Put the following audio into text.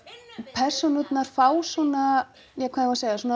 persónurnar fá svona ja hvað á að segja svona